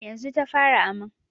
Yanzu ta fara aman.